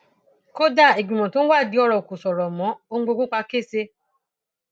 kódà ìgbìmọ tó ń wádìí ọrọ kò ṣòro mọ ohun gbogbo pa kẹsẹ